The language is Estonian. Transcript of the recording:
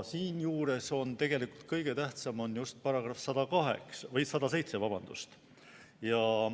Siinjuures on tegelikult kõige tähtsam § 107.